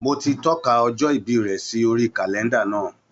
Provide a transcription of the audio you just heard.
Mo ti tọ́ka ọjọ́ ìbí rẹ̀ sí orí kàlẹ́ńdà náà.